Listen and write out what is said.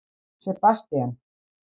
Sebastían